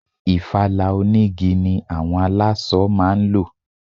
Ìfala onigi ni àwọn aláṣọ máa ń lò.